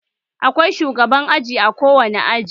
Akwai shugaban aji a kowane aji